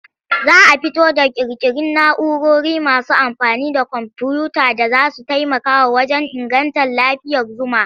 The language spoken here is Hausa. Za a fito ƙirƙiri na'urori masu amfani da komfuyuta da za su taimaka wajen inganta lafiyar zuma.